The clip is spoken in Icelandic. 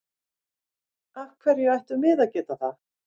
Af hverju ættum við að geta það?